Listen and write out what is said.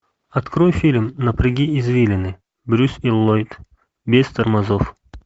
открой фильм напряги извилины брюс и ллойд без тормозов